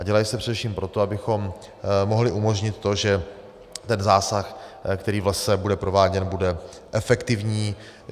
A dělají se především proto, abychom mohli umožnit to, že ten zásah, který v lese bude prováděn, bude efektivní.